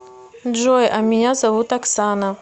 джой а меня зовут оксана